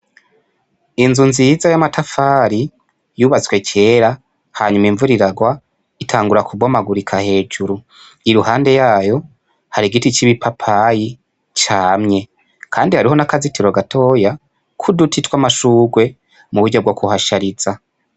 Inzu nziza y'amatafari yubatswe kera hanyuma imvura iragwa, itangura kubomagurika hejuru. Iruhande yayo hari igiti c'ipapayi camye kandi hariho n'akazitiro gatoyi k'uduti twa'amashugwe mu buryo bwo kuhashariza.